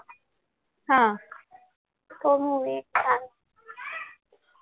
हा